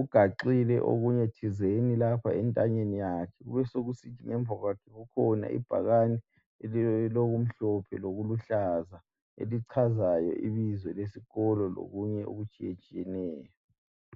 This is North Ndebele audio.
Uganxile okunye thizeni lapha entanyeni yakhe, kube sokusithi ngemva kwakhe kukhona ibhakane elilokumhlophe lokuluhlaza elichazayo ibizo lesikolo lokunye okutshiyetshiyeneyo